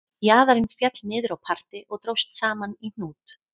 Jaðarinn féll niður á parti og dróst saman í hnút